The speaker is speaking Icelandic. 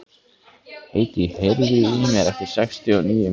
Hedí, heyrðu í mér eftir sextíu og níu mínútur.